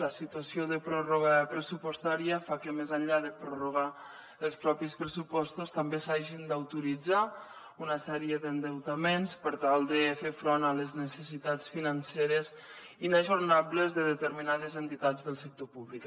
la situació de pròrroga pressupostària fa que més enllà de prorrogar els propis pressupostos també s’hagin d’autoritzar una sèrie d’endeutaments per tal de fer front a les necessitats financeres inajornables de determinades entitats del sector públic